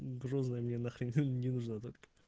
грязная мне нахер ты не нужна такая